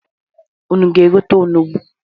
Unu ga-egote onugbu?